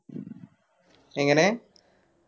എങ്ങനെ